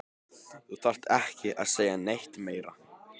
Þú þarft ekki að segja neitt meira